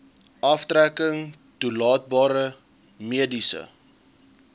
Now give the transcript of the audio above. aftrekking toelaatbare mediese